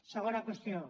segona qüestió